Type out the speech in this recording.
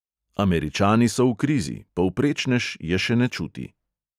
Američani so v krizi, povprečnež je še ne čuti.